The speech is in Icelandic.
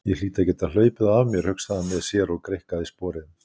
Ég hlýt að geta hlaupið þá af mér, hugsaði hann með sér og greikkaði sporið.